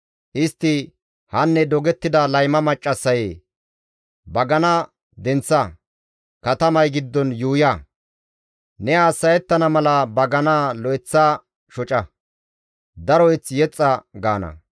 Istti, «Hanne dogettida layma maccassayee! bagana denththa; katamay giddon yuuya; ne hassa7ettana mala baganaa lo7eththa shoca; daro mazamure yexxa» gaana.